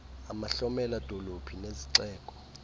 amahlomela dolophu nezixeko